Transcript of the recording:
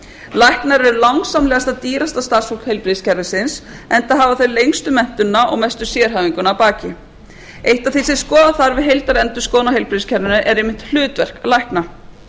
læknar eru langsamlega dýrasta starfsfólk heilbrigðiskerfisins enda hafa þeir lengstu menntunina og mestu sérhæfinguna að baki eitt af því sem skoða þarf við heildarendurskoðun á heilbrigðiskerfinu er einmitt hlutverk lækna